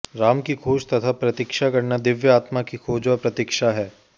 राम की खोज तथा प्रतीक्षा करना दिव्य आत्मा की खोज व प्रतीक्षा है